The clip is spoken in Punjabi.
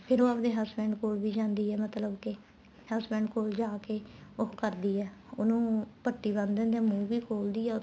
ਫ਼ੇਰ ਉਹ ਆਪਣੇ husband ਕੋਲ ਵੀ ਜਾਂਦੀ ਆ ਮਤਲਬ ਕੇ husband ਕੋਲ ਜਾਕੇ ਉਹ ਕਰਦੀ ਏ ਉਹਨੂੰ ਪੱਟੀ ਬਣ ਦਿੰਦੀ ਆ ਮੂੰਹ ਵੀ ਖੋਲਦੀ ਆ ਉਹਦਾ